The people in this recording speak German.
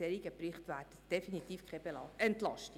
Ein solcher Bericht wäre definitiv keine Entlastung.